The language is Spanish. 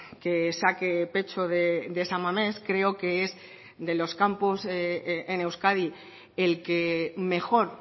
que saque pecho de san mamés creo que es de los campos en euskadi el que mejor